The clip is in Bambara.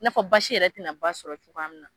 I n'a fɔ baasi yɛrɛ tina ba sɔrɔ cogo min na